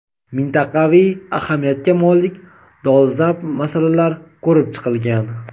mintaqaviy ahamiyatga molik dolzarb masalalar ko‘rib chiqilgan.